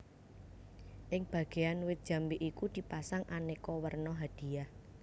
Ing Bagean wit jambe iku di pasang aneka werna hadiah